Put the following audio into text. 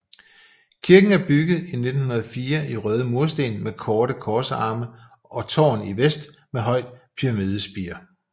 Kirken er bygget i 1904 i røde mursten med korte korsarme og tårn i vest med højt pyramidespir